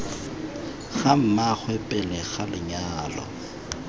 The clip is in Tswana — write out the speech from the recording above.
ga mmaagwe pele ga lenyalo